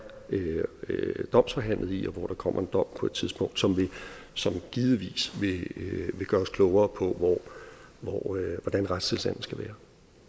domsforhandlet i og hvor der kommer en dom på et tidspunkt som givetvis vil gøre os klogere på hvordan retstilstanden skal være